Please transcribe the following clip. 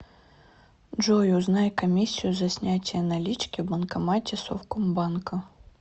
джой узнай комиссию за снятие налички в банкомате совкомбанка